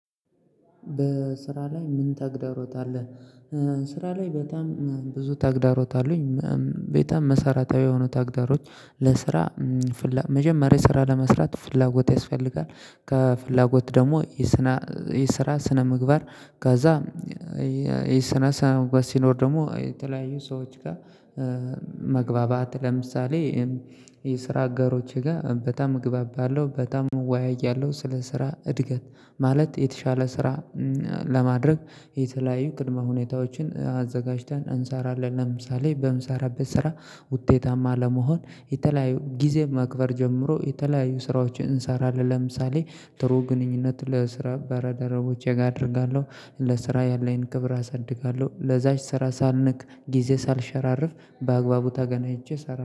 በስራ ላይ ምን ተግዳሮት አለ? ስራ ላይ በጣም ብዙ ተግዳሮት አሉኝ። በጣም መሰራታዊ የሆኑ ታግዳሮቶች ለስራ ፍላ መጀመሪያ ስራ ለመስራት ፍላጎት ያስፈልጋል። ከፍላጎት ደግሞ የስነ የስራ ስነ ምግባር። ከዚያ የስራ ስነ ምግባር ሲኖር ደግሞ የተለያዩ ሰዎች ጋር። መግባባት ለምሳሌ የስራ አጋሮቼ ጋር በጣም እግባባለው በጣም እወያያለሁ ስለ ስራ እድገት ማለት የተሻለ ስራ። ለማድረግ የተለያየ ቅድመ ሁኔታዎችን አዘጋጅተን እንሰራለን ለምሳሌ በምሰራበት ስራ። ውጤታማ ለመሆን የተለያዩ ጊዜ መክበር ጀምሮ የተለያዩ ስራዎችን እንሰራለን። ለምሳሌ ጥሩ ግንኙነት ለስራ በልደረቦቼ ጋር አደርጋለሁ ለስራ ያለኝን ክብር አሳድጋለሁ ለዛች ስራ ሳልንቅ ጊዜ ሳልሸራርፍ በአግባቡ ተገናኝቼ ሰራለው